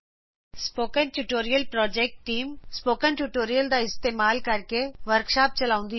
spoken tutorial project team spoken tutorials ਦਾ ਉਪਯੋਗ ਕਰਕੇ ਵਰਕਸ਼ਾਪ ਵੀ ਚਲਾਉਂਦੀ ਹੈ